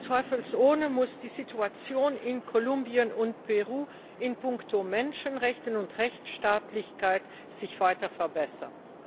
Zweifelsohne muss sich die Situation in Kolumbien und Peru in puncto Menschenrechte und Rechtstaatlichkeit weiter verbessern.